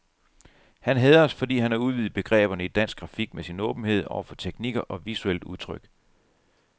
Han hædres, fordi han har udvidet begreberne i dansk grafik med sin åbenhed over for teknikker og visuelt udtryk.